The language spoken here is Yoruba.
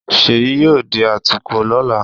Ṣèyí yóò di atukọ̀ lọ́la